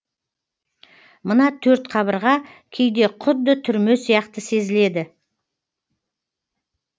мына төрт қабырға кейде құдды түрме сияқты сезіледі